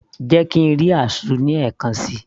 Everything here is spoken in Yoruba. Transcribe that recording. jẹ́ kí ń rí azu ní ẹ̀kan síi